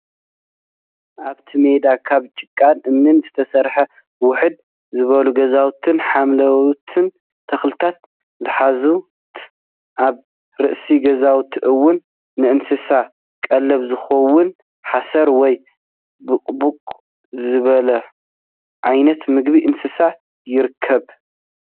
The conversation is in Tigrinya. ኣብቲ ሜዳ ካብ ጭቃን እምንን ዝተሰርሑ ውሕድ ዝበሉ ገዛውትን ሓምለዎት ተክልታትን ዝሓዘት ኣብ ርእሲ ገዛውቲ እውን ንእንስሳ ቀለብ ዝኸውን ሓሰር ወይ ቡቕቡቕ ዝበሃል ዓይነት ምግቢ እንስሳ ይርከብ፡፡